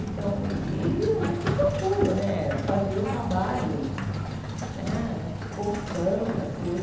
Então e a gente procura né fazer o trabalho né contando as coisas.